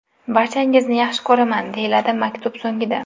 Barchangizni yaxshi ko‘raman!” deyiladi maktub so‘ngida.